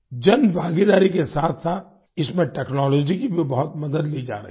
जनभागीदारी के साथसाथ इसमें टेक्नोलॉजी की भी बहुत मदद ली जा रही है